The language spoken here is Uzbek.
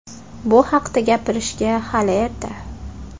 Bu haqda gapirishga hali erta.